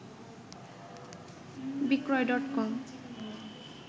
বিক্রয় ডট কম